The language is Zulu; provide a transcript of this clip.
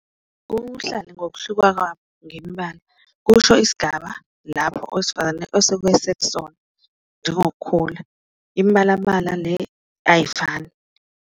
Ubuhlali ngokuhluka kwabo ngemibala kusho isigaba lapho owesifazane osuke esekusona, njengokukhula imbalambala le ayifani.